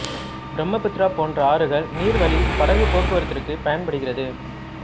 பிரம்மபுத்திரா போன்ற ஆறுகள் நீர் வழி படகுப் போக்குவரத்திற்கு பயன்படுகிறது